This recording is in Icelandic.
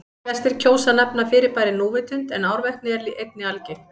Flestir kjósa að nefna fyrirbærið núvitund en árvekni er einnig algengt.